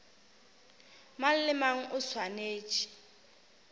mang le mang o swanetše